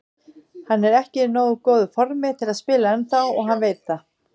Hann er ekki í nógu góðu formi til að spila ennþá og hann veit það.